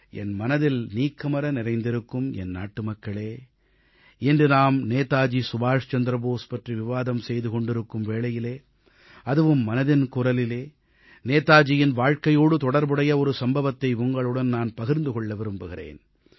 என் மனதில் நிறைந்திருக்கும் என் நாட்டுமக்களே இன்று நாம் நேதாஜி சுபாஷ் சந்திர போஸ் பற்றி விவாதம் செய்து கொண்டிருக்கும் வேளையிலே அதுவும் மனதின் குரலிலே நேதாஜியின் வாழ்க்கையோடு தொடர்புடைய ஒரு சம்பவத்தை உங்களுடன் நான் பகிர்ந்து கொள்ள விரும்புகிறேன்